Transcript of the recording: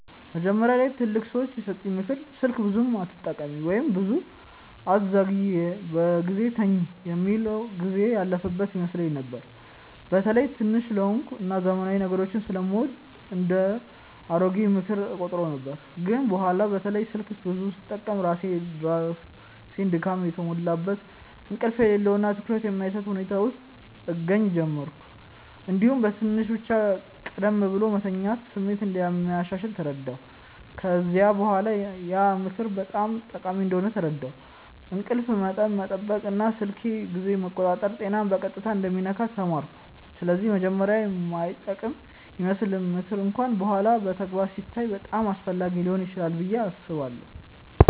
መጀመሪያ ላይ ትላልቅ ሰዎች የሰጡኝ “ምክር ስልክ ብዙ አትጠቀሚ” ወይም “ብዙ አትዘግይ በጊዜ ተኝ” የሚል ጊዜው ያለፈበት ይመስለኝ ነበር። በተለይ ትንሽ ስለሆንኩ እና ዘመናዊ ነገሮችን ስለምወድ እንደ “አሮጌ ምክር” እቆጥረው ነበር። ግን በኋላ በተለይ ስልክ ብዙ ስጠቀም ራሴን ድካም የተሞላበት፣ እንቅልፍ የሌለው እና ትኩረት የማይሰጥ ሁኔታ ውስጥ እገኛ ጀመርሁ። እንዲሁም በትንሽ ብቻ ቀደም ብሎ መተኛት ስሜት እንደሚያሻሽል ተረዳሁ። ከዚያ በኋላ ያ ምክር በጣም ጠቃሚ እንደሆነ ተረዳሁ፤ እንቅልፍ መጠን መጠበቅ እና ስልክ ጊዜን መቆጣጠር ጤናን በቀጥታ እንደሚነካ ተማርኩ። ስለዚህ መጀመሪያ የማይጠቅም ይመስለው ምክር እንኳን በኋላ በተግባር ሲታይ በጣም አስፈላጊ ሊሆን ይችላል ብዬ አስባለሁ።